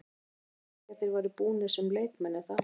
Við myndum ekki segja að þeir væru búnir sem leikmenn er það?